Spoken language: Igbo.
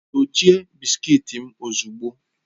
Dochie bisikiiti m ozugbo!